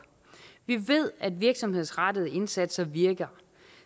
vi ved at virksomhedsrettede indsatser virker